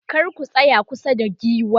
kar ku tsaya kusa da giwa